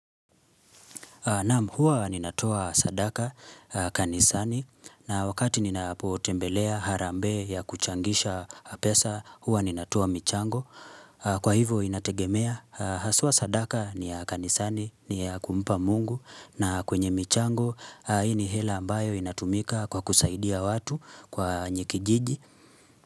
Naam, huwa ninatoa sadaka, kanisani, na wakati ninapotembelea harambee ya kuchangisha pesa, huwa ninatoa michango. Kwa hivo, inategemea, haswa sadaka ni ya kanisani, ni ya kumpa mungu, na kwenye michango, hii ni hela ambayo inatumika kwa kusaidia watu kwa wenye kijiji.